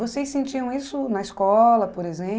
Vocês sentiam isso na escola, por